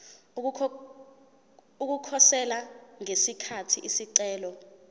ukukhosela ngesikhathi isicelo